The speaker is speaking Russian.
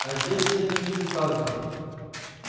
а здесь нет никаких танков